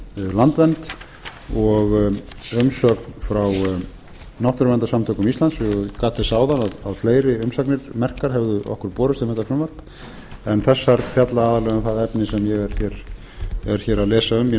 landvernd og umsögn frá náttúruverndarsamtökum íslands ég gat þess áðan að fleiri umsagnir merkar hefðu okkur borist um þetta frumvarp en þessar fjalla aðallega um það efni sem ég er hér að lesa um í nefndaráliti okkar